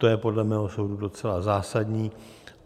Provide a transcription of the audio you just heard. To je podle mého soudu docela zásadní.